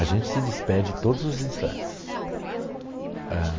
A gente se despede todos os instantes.